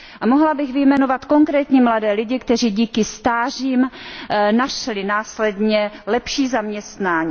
A mohla bych vyjmenovat konkrétní mladé lidi, kteří díky stážím našli následně lepší zaměstnání.